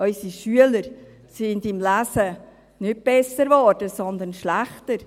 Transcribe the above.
Unsere Schüler sind im Lesen nicht besser, sondern schlechter geworden.